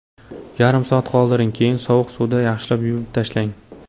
Yarim soat qoldiring, keyin sovuq suvda yaxshilab yuvib tashlang.